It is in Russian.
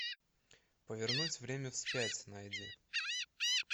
повернуть время вспять найди